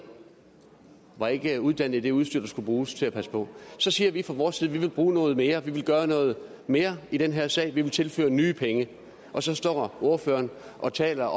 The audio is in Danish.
var ikke uddannet i det udstyr der skulle bruges til at passe på så siger vi fra vores side at vi vil bruge noget mere vi vil gøre noget mere i den her sag vi vil tilføre nye penge og så står ordføreren og taler